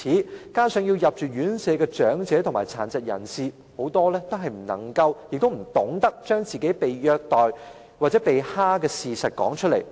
更可惜的是，需要入住院舍的長者和殘疾人士，很多也不懂得把被虐待或被欺負的事實說出來。